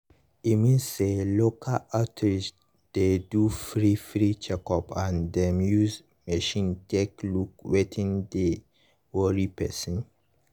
e mean say local outreach dey do free free checkup and dem use machine take look wetin dey worry person.